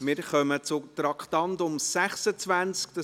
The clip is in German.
Wir kommen zum Traktandum 26.